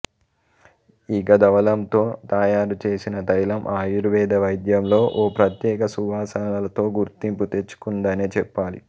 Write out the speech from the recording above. ఇక దవళంతో తయారు చేసిన తైలం ఆయుర్వేద వైద్యంలో ఓ ప్రత్యేక సువాసన లతో గుర్తింపు తెచ్చుకుందనే చెప్పాలి